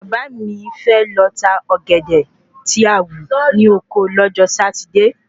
Bàbá mi fẹ́ lọ tá Ọ̀gẹ̀dẹ̀ tí a wú ni Ọkọ lọ́jọ́ Satide